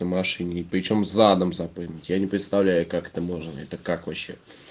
на машине причём задом запрыгнуть я не представляю как это можно это как вообще